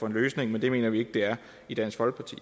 en løsning men det mener vi i dansk folkeparti